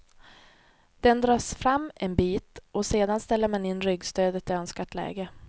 Den dras fram en bit och sedan går ställer man in ryggstödet i önskat läge.